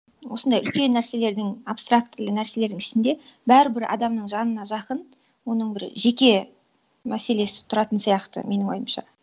осындай үлкен нәрселердің абстрактілі нәрселердің ішінде бәрібір адамның жанына жақын оның бір жеке мәселесі тұратын сияқты менің ойымша